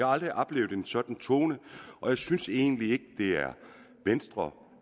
aldrig oplevet en sådan tone og jeg synes egentlig ikke det er venstre